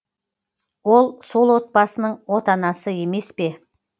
ол сол отбасының отанасы емес пе